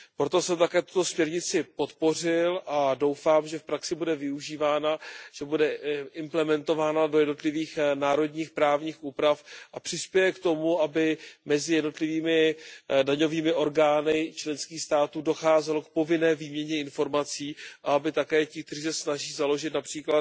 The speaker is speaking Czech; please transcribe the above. Proto jsem také tuto směrnici podpořil a doufám, že v praxi bude využívána, že bude implementována do jednotlivých národních právních úprav a přispěje k tomu, aby mezi jednotlivými daňovými orgány členských států docházelo k povinné výměně informací a aby také ti, kteří se snaží založit např.